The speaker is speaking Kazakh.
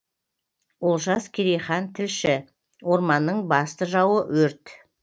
олжас керейхан тілші орманның басты жауы өрт